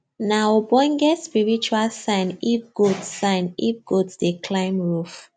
nah ogbonge spiritual sign if goat sign if goat dey climb roof